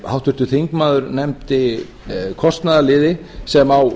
háttvirtur þingmaður nefndi kostnaðarliði sem á